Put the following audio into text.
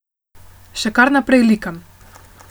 Še kar naprej likam.